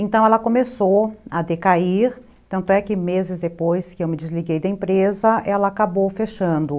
Então ela começou a decair, tanto é que meses depois que eu me desliguei da empresa, ela acabou fechando.